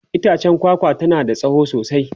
itchen kwakwa tana da tsawo sosai